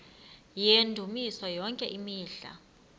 yendumiso yonke imihla